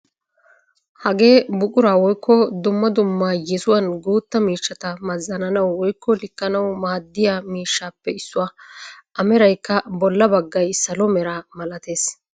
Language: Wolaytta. Hagee buquraa woykko dumma dumma yesuwaan guutta miishshata mazananawu woykko likkanawu maaddiyaa miishshappe issuwaa. A meraykka bolla baggay salo meraa malattees.